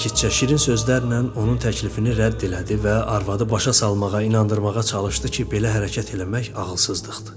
Sakitcə şirin sözlərlə onun təklifini rədd elədi və arvadı başa salmağa, inandırmağa çalışdı ki, belə hərəkət eləmək ağılsızlıqdır.